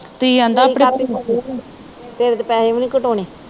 ਤੇਰੇ ਤਾਂ ਪੈਸੇ ਵੀ ਨੀ ਘਟਾਉਣੇ।